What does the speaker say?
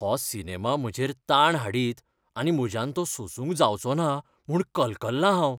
हो सिनेमा म्हजेर ताण हाडीत आनी म्हज्यान तो सोसूंक जावचोना म्हूण कलकल्लां हांव.